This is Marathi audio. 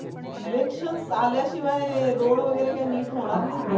elections आल्याशिवाय road वगैरे काय नीट होणार नाहीत.